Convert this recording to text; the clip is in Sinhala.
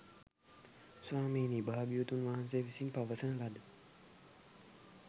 ස්වාමීනී භාග්‍යවතුන් වහන්සේ විසින් පවසන ලද